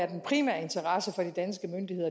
den primære interesse for de danske myndigheder